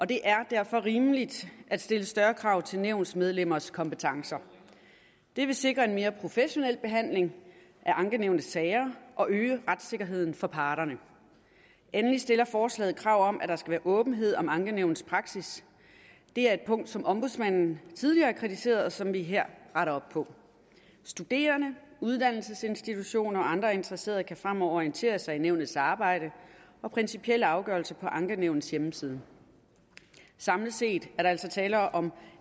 det er derfor rimeligt at stille større krav til nævnsmedlemmers kompetencer det vil sikre en mere professionel behandling af ankenævnets sager og øge retssikkerheden for parterne endelig stiller forslaget krav om at der skal være åbenhed om ankenævnets praksis det er et punkt som ombudsmanden tidligere har kritiseret og som vi her retter op på studerende uddannelsesinstitutioner og andre interesserede kan fremover orientere sig i nævnets arbejde og principielle afgørelser på ankenævnets hjemmeside samlet set er der altså tale om